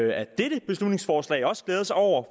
af dette beslutningsforslag også glæde sig over